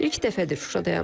İlk dəfədir Şuşadayam.